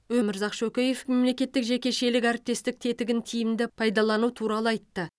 өмірзақ шөкеев мемлекеттік жекешелік әріптестік тетігін тиімді пайдалану туралы айтты